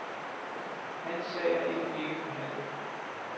Hans sag er endnu ikke behandlet.